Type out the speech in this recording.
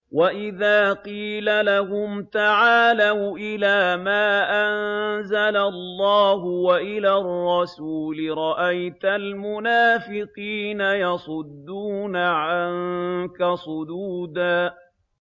وَإِذَا قِيلَ لَهُمْ تَعَالَوْا إِلَىٰ مَا أَنزَلَ اللَّهُ وَإِلَى الرَّسُولِ رَأَيْتَ الْمُنَافِقِينَ يَصُدُّونَ عَنكَ صُدُودًا